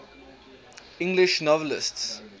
english novelists